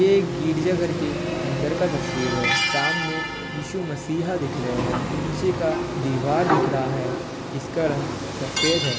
एक गिरजा घर के अंदर का तस्वीर है। सामने इशू-मसीहा दिख रहे हैं। पीछे का दीवार दिख रहा है जिसका रंग सफ़ेद है ।